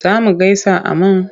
Za mu gaisa a man?